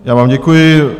Já vám děkuji.